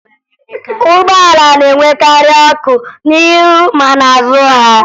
Ụgbọala na-enwekarị ọkụ n'ihu ma n'azụ ha